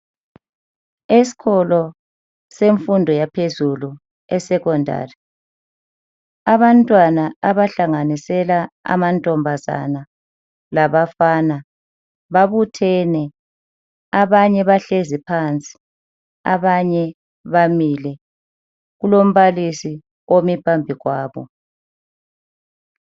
Esikolo semfundo yaphezulu esecondary abantwana abahlanganisela amantombazana labafana babuthene abanye bahlezi phansi abanye bamile, kulombalisi ome phambi kwabo.